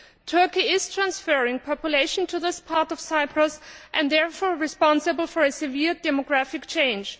Turkey is transferring population to this part of Cyprus and is therefore responsible for a severe demographic change.